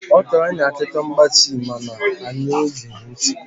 Ọ kọọrọ anyị akụkọ mgbansi ma na anyị egeghị ntị.